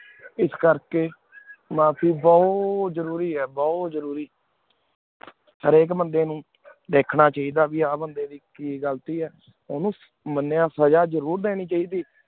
ਇਸ ਕਰ ਕੀ ਮਾਫ਼ੀ ਬੁਹਤ ਭੂਤ ਜ਼ਰੂਰੀ ਆਯ ਹੇਰ ਏਕ ਬੰਦੀ ਨੂ ਧ੍ਖਣਾ ਚਾਹੇ ਦਾ ਕੀ ਆਯ ਬੰਦੀ ਨੂ ਆਯ ਮੰਡੀ ਦੀ ਕੀ ਘਲਤੀ ਆਯ ਉਨੂ ਮਾਨ੍ਯ ਸਜ਼ਾ ਜ਼ਰੁਰ ਦੀਨੀ ਚਾਹੇਈ ਆਯ